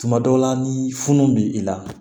Tuma dɔw la ni funu bɛ i la